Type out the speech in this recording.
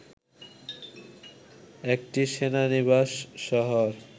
একটি সেনানিবাস শহর